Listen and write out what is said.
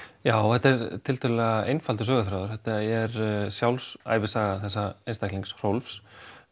já þetta er tiltölulega einfaldur söguþráður þetta er sjálfsævisaga þessa einstaklings Rolf